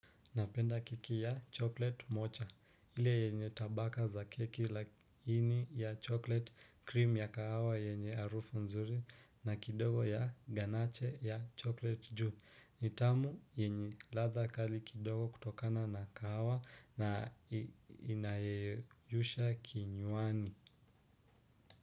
Napenda keki ya chocolate moja. Ile yenye tabaka za keki lakini ya chocolate, cream ya kahawa yenye harufu nzuri na kidogo ya ganache ya chocolate juu. Ni tamu yenye ladha kali kidogo kutokana na kahawa na inayeyusha kinywani.